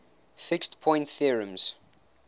fixed point theorems